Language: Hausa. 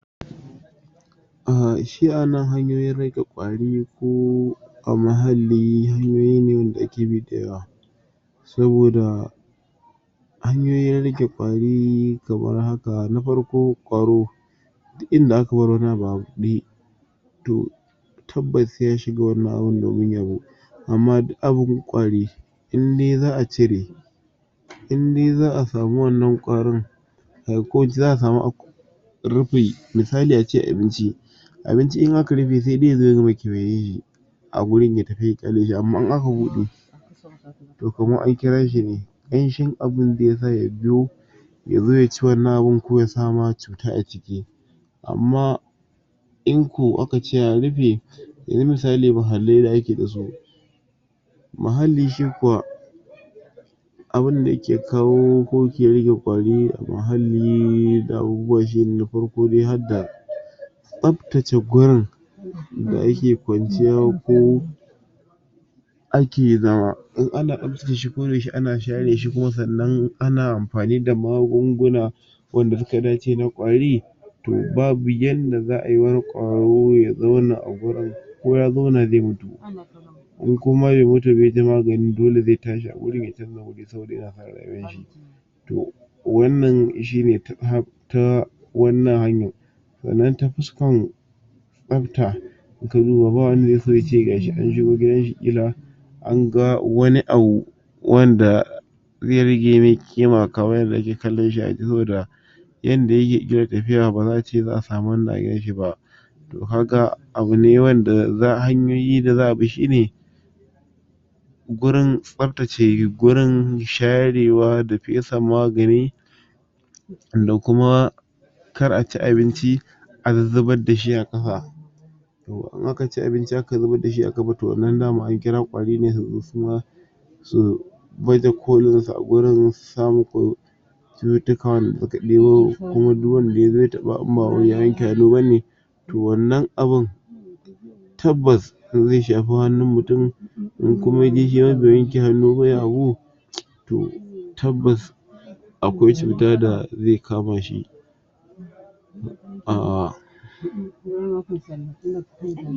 um shi a nan hanyoyin rage ƙwari, ko a muhalli, hanyoyi ne da yake daɗewa, saboda hanyoyin rage ƙwari kamar haka: na farko, ƙwaro duk inda aka bar wani abu a buɗe, to tabbas sai ya shiga wannan abun domin yabo, amma duk abun ƙwari, indai za a cire, indai za a samu wannan ƙwaron, ai ko za a rufi, misali a ce abinci, abinci in aka rufe, sai dai yazo ya gama kewayen shi a gurin ya tafi ya ƙyale shi, amma in aka buɗe to kaman an kira shi ne, ƙanshin abin zai sa ya biyo, yazo ya ci abun ko ya sa ma cuta a ciki. Amma in ko aka ce an rufe, yanzu misali muhallai da ake da su, muhalli shi kuwa. Abunda yake kawo, ko ke rage ƙwari a muhalli da abubuwa shine, na farko dai had da tsaftace gurin da ake kwanciya, ko ake zama. In ana tsaftace shi ko da yaushe, ana share shi kuma sannan ana amfani da magunguna, wanda suka dace na ƙwari, to, babu yanda za ayi wani ƙwaro ya zauna a wuri, ko ya zauna zai mutu. Ko koma bai mutu ba yaji magani, dole zai tashi a wurin ya canza wuri saboda yana san rayuwar shi. To, wannan shi ne ta wannan hanyan. Sannan ta fuskan tsafta, in ka duba ba wanda zai so ace gashi an shigo gidan shi, ƙila anga wani abu wanda zai rage mai ƙima, kaman yanda ake kallon shi a waje, saboda yanda yake ƙila tafiya, ba za a ce za a samu wannan a gidan shi ba. To, kaga abu ne wanda, hanyoyi da za a bi shine gurin tsaftace gurin sharewa, da fesa magani, da kuma kar a ci abinci a zuzzubad dashi a ƙasa. To, in aka ci abinci a kafa to wannan dama an kira ƙwari ne, su zo suma su baje kolin su a wurin, su sa muku cututtuka wanda suka ɗebo, kuma du wanda yazo ya taɓa in ba wai ya wanke hannu bane, to wannan abun, tabbas zai shafi hannun mutum, in kuma yaje shi ma bai wanke hannu ba ya abu, to tabbas akwai cuta da zai kama shi. um